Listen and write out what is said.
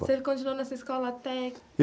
Você continuou nessa escola até